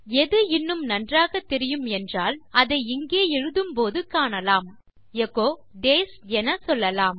எது இன்னும் நன்றாக தெரியும் என்றால் அதை இங்கே எழுதும்போது காணலாம் எச்சோ டேஸ் என சொல்லலாம்